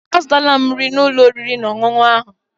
Azụtala m nri n'ụlọ oriri na ọṅụṅụ ahụ.